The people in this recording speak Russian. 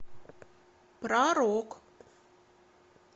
про рок